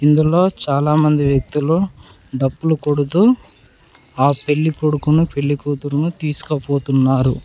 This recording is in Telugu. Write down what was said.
ఇందులో చాలామంది వ్యక్తులు డప్పులు కొడుతూ ఆ పెళ్లి కొడుకును పెళ్లికూతురును తీసుకపోతున్నారు.